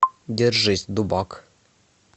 держись дубак